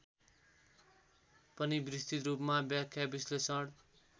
पनि विस्तृतरूपमा व्याख्याविश्लेषण